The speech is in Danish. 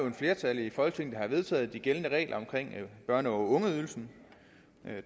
et flertal i folketinget der har vedtaget de gældende regler om børne og ungeydelsen men